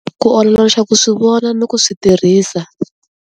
Ku uloloxa ku swi vona ni ku swi tirhisa.